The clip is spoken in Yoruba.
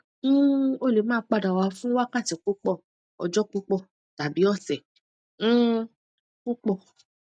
um o le ma pada wa fun wakati pupọ̀ Ọjọ́ pupọ̀ tabi ọsẹ̀ um pupọ̀